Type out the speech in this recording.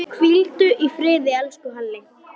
Hvíldu í friði, elsku Halli.